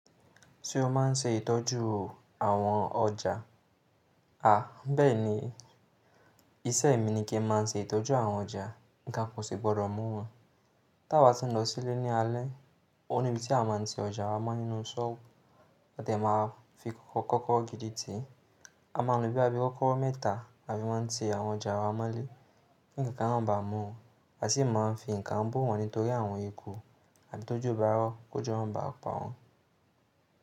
Ṣé o má n ṣe ìtọ́jú àwọn ọjà? Àh, bẹ́ẹ̀ni, iṣẹ́ mi ni kí n má n ṣe ìtọ́jú àwọn ọjà, nǹkan kò sì gbọ́dọ̀ mú wọ́n. Tí a bá ti n lọ sílé ní alẹ́, ó níbi tí a má n ti ọjà wa mọ́ nínú sọ́ọ̀bù à dẹ máa fi kọ́kọ́kọ́rọ́ gidi tì. A máa n lo bí boya bi kọ́kọ́rọ́ mẹ́ta tí a fi máa n ti àwọn ọjà wa mọ́lé. Kí nǹkan náà ba mú u, a sì máa n fi nǹkan bo wọ́n nítorí àwọn eku àbí ti ojo bára ọ́ kó jo mo ba pa wọ́n.